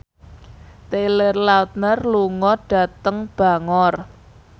Taylor Lautner lunga dhateng Bangor